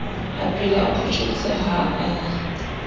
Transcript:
aphela o photjhotse ha e